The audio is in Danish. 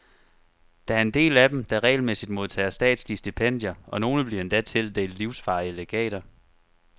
Der er en del af dem, der regelmæssigt modtager statslige stipendier, og nogle bliver endda tildelt livsvarige legater.